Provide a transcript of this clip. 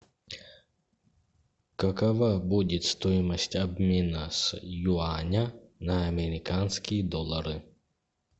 какова будет стоимость обмена с юаня на американские доллары